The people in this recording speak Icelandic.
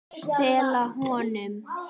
Stela honum?